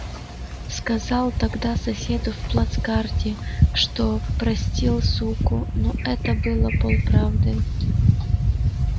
сказал тогда соседу в плацкарте что простил суку но это было полправды